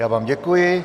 Já vám děkuji.